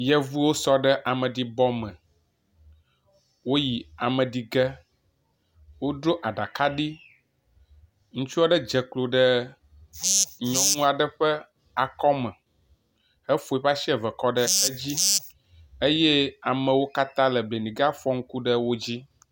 Yevuwo sɔ ɖe ameɖibɔ me. woyi ame ɖi ge. Wodro aɖaka ɖi. Ŋutsua ɖe dze klo ɖe nyɔnua ɖe ƒe akɔ me hefɔ eƒe asi eve kɔ ɖe edzi eye amewo katã le benega fɔ ŋku ɖe wo dzi.